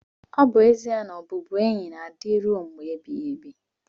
ọ bụ ezie na ezi ọbụbụenyi na-adị rue mgbe ebighị ebi.